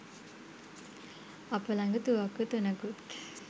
අප ළඟ තුවක්කු තුනකුත්